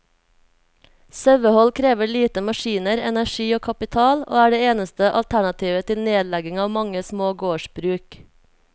Sauehold krever lite maskiner, energi og kapital, og er det eneste alternativet til nedlegging av mange små gårdsbruk.